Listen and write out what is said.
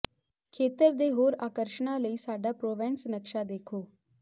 ਖੇਤਰ ਦੇ ਹੋਰ ਆਕਰਸ਼ਣਾਂ ਲਈ ਸਾਡਾ ਪ੍ਰੋਵੈਂਸ ਨਕਸ਼ਾ ਦੇਖੋ